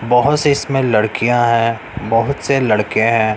बहो से इसमें लड़कियां है बहुत से लड़के हैं।